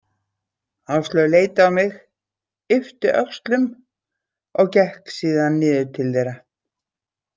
Áslaug leit á mig, yppti öxlum og gekk síðan niður til þeirra.